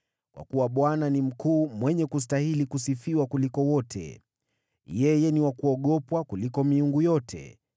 Kwa kuwa Bwana ni mkuu, mwenye kustahili kusifiwa kuliko wote; yeye ni wa kuogopwa kuliko miungu yote.